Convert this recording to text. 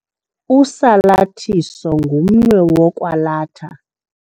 Usalathiso ngumnwe wokwalatha.